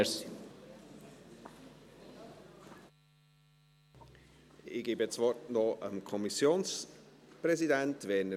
Ich gebe das Wort dem Kommissionspräsidenten, Werner Moser.